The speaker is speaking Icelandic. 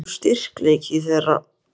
Hvar liggur styrkleiki þeirra?